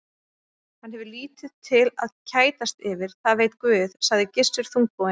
Hann hefur lítið til að kætast yfir, það veit Guð, sagði Gissur þungbúinn.